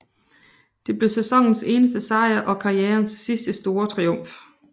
Det blev sæsonens eneste sejr og karrierens sidste store triumf